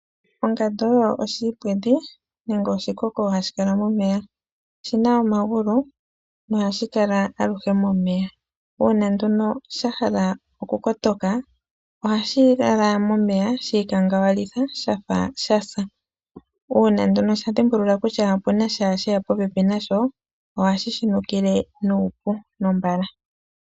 Ongandu oyo oshiipwedhi nenge oshikoko hashikala momeya. Oshina omagulu nohashi kala alushe momeya. Uuna nduno shahala okukotoka ohashi lala momeya shiikangawalitha shafa shasa .Uuna nduno shadhimbulula kutya opunasha sheya popepi nasho ohashi shinukile nuupu nombala.